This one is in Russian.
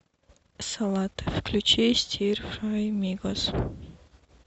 салют включи стир фрай мигос